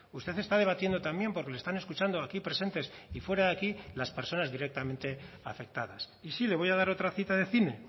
usted está debatiendo también porque le están escuchando aquí presentes y fuera de aquí las personas directamente afectadas y sí le voy a dar otra cita de cine